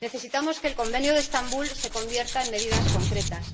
Necesitamos que el Convenio de Estambul se convierta en medidas concretas.